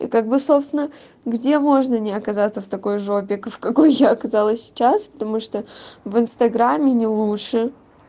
и как бы собственно где можно не оказаться в такой жопе в какой я оказалась сейчас потому что в инстаграме не лучше